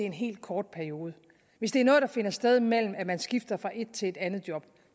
en helt kort periode hvis det er noget der finder sted mellem man skifter fra et til et andet job